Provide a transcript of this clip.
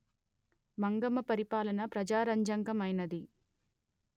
మంగమ్మ పరిపాలన ప్రజారంజకమైనది